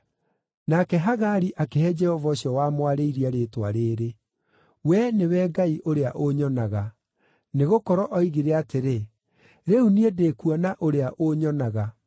Nake Hagari akĩhe Jehova ũcio wamwarĩirie rĩĩtwa rĩĩrĩ: “Wee nĩwe Ngai ũrĩa ũnyonaga,” nĩgũkorwo oigire atĩrĩ, “Rĩu niĩ ndĩkuona Ũrĩa ũnyonaga.”